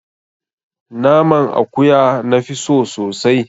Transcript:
Naman akuya na fi so sosai